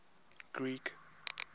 greek